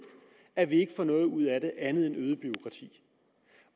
at den ikke får noget ud af det andet end øget bureaukrati